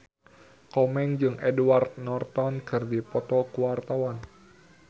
Komeng jeung Edward Norton keur dipoto ku wartawan